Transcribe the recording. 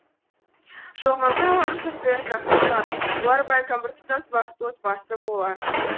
жоқ мүмкін олардың жағдайы жақсы шығар олар бәлкім біртұтас бақытты отбасы болар